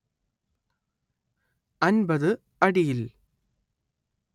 അന്‍പത്ത് അടിയിൽ